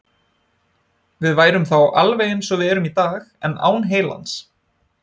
Við værum þá alveg eins og við erum í dag, en án heilans.